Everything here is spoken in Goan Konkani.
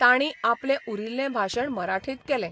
तांणी आपलें उरिल्ले भाशण मराठीत केलें....